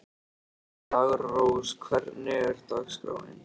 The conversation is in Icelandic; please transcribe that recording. Daggrós, hvernig er dagskráin?